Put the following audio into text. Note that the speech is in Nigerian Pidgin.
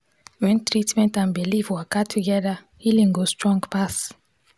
when treatment and belief waka together healing go strong pass.